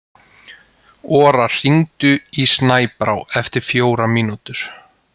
Ora, hringdu í Snæbrá eftir fjórar mínútur.